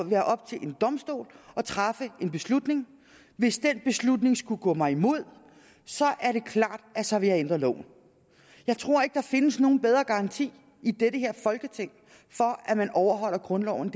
være op til en domstol at træffe en beslutning hvis den beslutning skulle gå mig imod er det klart at så vil jeg ændre loven jeg tror ikke at der findes nogen bedre garanti i det her folketing for at man overholder grundloven